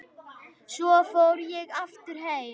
Svo fór ég aftur heim.